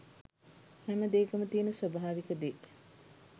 හැමදේකම තියෙන ස්වාභාවික දේ